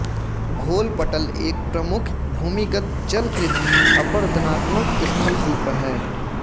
घोल पटल एक प्रमुख भूमिगत जल कृत अपरदनात्मक स्थलरुप हैं